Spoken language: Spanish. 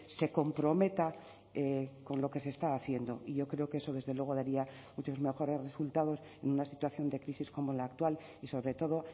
se comprometa con lo que se está haciendo y yo creo que eso desde luego daría muchos mejores resultados en una situación de crisis como la actual y sobre todo